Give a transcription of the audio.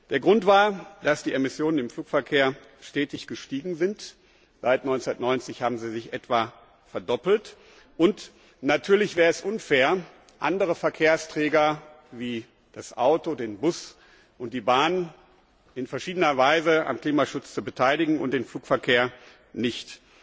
Der Grund war, dass die Emissionen im Flugverkehr stetig gestiegen sind seit 1990 haben sie sich etwa verdoppelt und natürlich wäre es unfair, andere Verkehrsträger wie das Auto, den Bus und die Bahn in verschiedener Weise am Klimaschutz zu beteiligen und den Flugverkehr nicht.